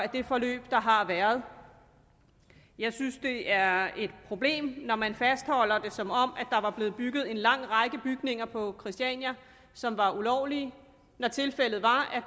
det forløb der har været jeg synes det er et problem når man fastholder det som om der var blevet bygget en lang række bygninger på christiania som var ulovlige når tilfældet var at